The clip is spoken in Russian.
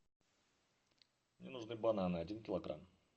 мне нужны бананы один килограмм